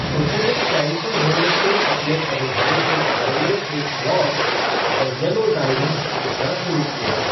उन्होंने कैंसर होने के अपने अनुभवों के बारे में एक ब्लॉग द येलो डायरीज़ लिखना शुरू किया।